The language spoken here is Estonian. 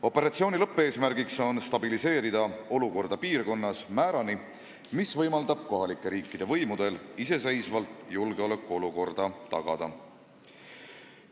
Operatsiooni lõppeesmärk on stabiliseerida olukorda piirkonnas määrani, mis võimaldab kohalike riikide võimudel iseseisvalt julgeolekuolukorra tagada.